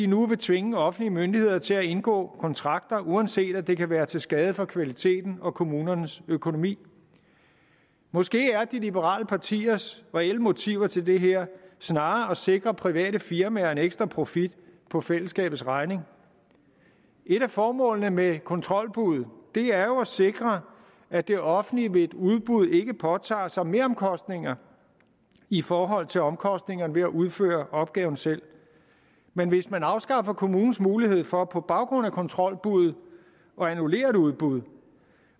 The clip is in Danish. nu vil tvinge offentlige myndigheder til at indgå kontrakter uanset om det kan være til skade for kvaliteten og kommunernes økonomi måske er de liberale partiers reelle motiver til det her snarere at sikre private firmaer en ekstra profit på fællesskabets regning et af formålene med kontrolbud er jo at sikre at det offentlige ved et udbud ikke påtager sig meromkostninger i forhold til omkostningerne ved at udføre opgaven selv men hvis man afskaffer kommunens mulighed for på baggrund af kontrolbuddet at annullere et udbud og